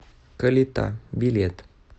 калита билет